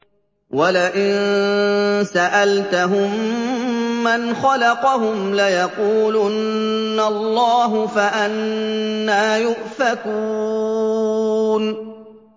وَلَئِن سَأَلْتَهُم مَّنْ خَلَقَهُمْ لَيَقُولُنَّ اللَّهُ ۖ فَأَنَّىٰ يُؤْفَكُونَ